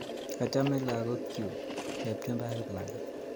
Achame lagok chuk, Chepchumba ak Kiplagat.